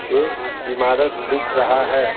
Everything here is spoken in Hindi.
एक इमारत दिख रहा है.